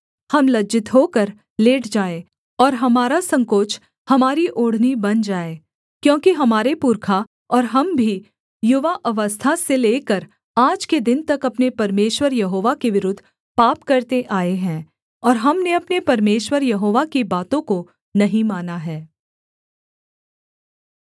हम लज्जित होकर लेट जाएँ और हमारा संकोच हमारी ओढ़नी बन जाए क्योंकि हमारे पुरखा और हम भी युवा अवस्था से लेकर आज के दिन तक अपने परमेश्वर यहोवा के विरुद्ध पाप करते आए हैं और हमने अपने परमेश्वर यहोवा की बातों को नहीं माना है